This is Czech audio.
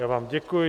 Já vám děkuji.